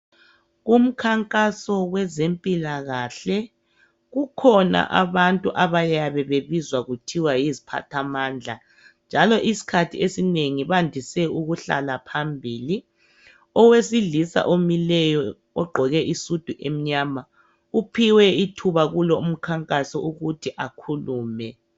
Kumkhankaso wezempilakahle kukhona abantu abayabe bebizwa kuthiwa yiziphathamandla njalo isikhathi esinengi bandise ukuhlala phambili owesilisa omileyo ogqoke isudu emnyama uphiwe ithuba kulo umkhankaso ukuthi akhulume.